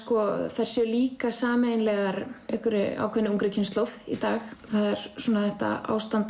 þær séu líka sameiginlegar einhverri ákveðinni ungri kynslóð í dag það er svona þetta ástand